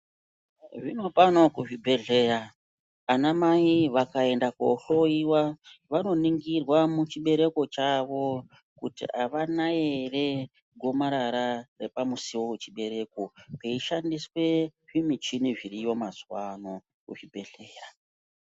Zvino pano kuzvibhedhleya ana mai vakaenda kohloyiwa vanoningirwa muchibereko chavo kuti avana here gomarara repamusiwo wepachibereko veishandise zvimichini zviriyo mazuva ano muzvibhedhleya.